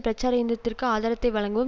பிரச்சார இயந்திரத்துக்கு ஆதாரத்தை வழங்கவும்